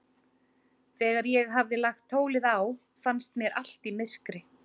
Þegar ég hafði lagt tólið á, fannst mér allt í myrkri.